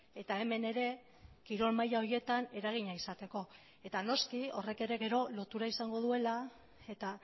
eta hemen ere kirol maila horietan eragina izateko eta noski horrek ere gero lotura izango duela eta